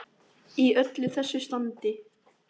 Í öllu þessu standi.